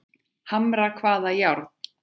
Hamra hvaða járn?